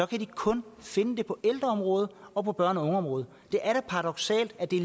de kun finde det på ældreområdet og på børne og ungeområdet det er da paradoksalt at det